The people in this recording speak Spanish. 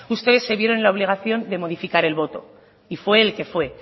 ustedes se vieron en la obligación de modificar el voto y fue el que fue